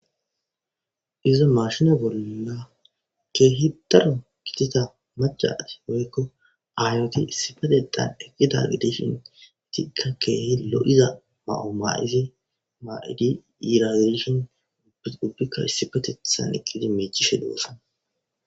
izo mashina bolla keehi daro kiteta maca woykko aayoti issipatexan eqkida gideshin itikka keehe lo7iza ma7o maa7izi maa7idi yiirazishin ubbikka issi patethan iqqidi miichishe duwossa